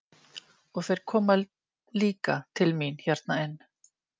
Og þeir koma líka til mín hérna inn.